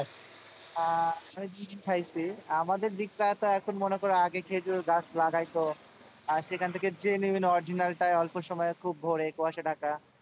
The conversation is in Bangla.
আহ আমি জি জি খাইছি, আমাদের দিকটা তো এখন মনে করো আগে খেঁজুর গাছ লাগাইতো আহ সেখান থেকে genuine original টায় অল্প সময়ে খুব ভোরে কুয়াশা ঢাকা,